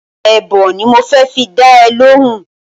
Èèbó ni mo fẹ́ fi dá ẹ lóhùn-ún